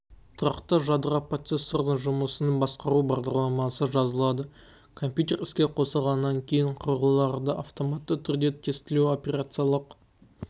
тұрақты жадыға процессордың жұмысының басқару бағдарламасы жазылады компьютер іске қосылғаннан кейін құрылғыларды автоматты түрде тестілеу операциялық